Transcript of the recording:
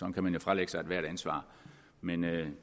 kan man jo fralægge sig ethvert ansvar men det